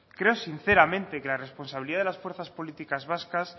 creo sinceramente que la responsabilidad de las fuerzas políticas vascas